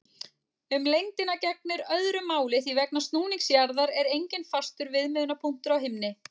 Um lengdina gegnir öðru máli því vegna snúnings jarðar er enginn fastur viðmiðunarpunktur á himni.